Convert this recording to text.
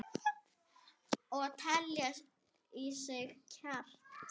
Og telja í sig kjark.